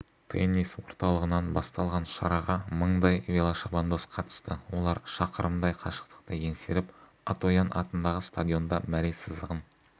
теннис орталығынан басталған шараға мыңдай велошабандоз қатысты олар шақырымдай қашықтықты еңсеріп атоян атындағы стадионда мәре сызығын